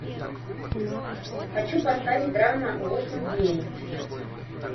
хочу поставить драма восемь дней